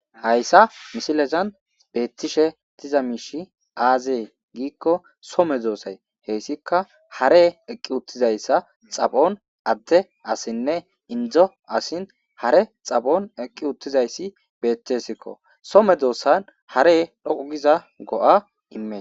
hayissa misilezani betishe diza mishi aze gikko soo meddosa hesikka hareyi eqi utidayissa xaphoni ade asine indo asi hare xaphoni eqi utidayissi betesiko, soo medossani hare dhoqu gido go'a imessi.